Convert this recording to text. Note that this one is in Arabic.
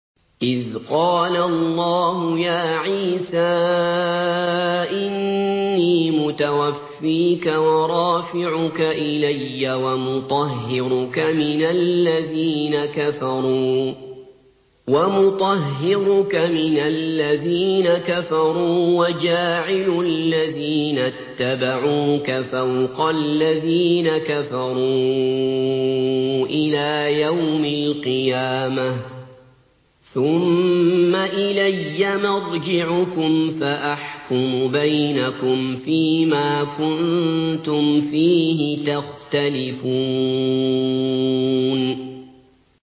إِذْ قَالَ اللَّهُ يَا عِيسَىٰ إِنِّي مُتَوَفِّيكَ وَرَافِعُكَ إِلَيَّ وَمُطَهِّرُكَ مِنَ الَّذِينَ كَفَرُوا وَجَاعِلُ الَّذِينَ اتَّبَعُوكَ فَوْقَ الَّذِينَ كَفَرُوا إِلَىٰ يَوْمِ الْقِيَامَةِ ۖ ثُمَّ إِلَيَّ مَرْجِعُكُمْ فَأَحْكُمُ بَيْنَكُمْ فِيمَا كُنتُمْ فِيهِ تَخْتَلِفُونَ